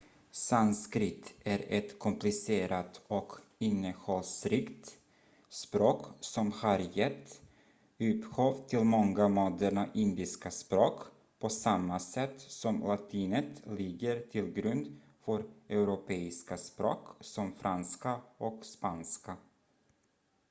sanskrit är ett komplicerat och innehållsrikt språk som har gett upphov till många moderna indiska språk på samma sätt som latinet ligger till grund för europeiska språk som franska och spanska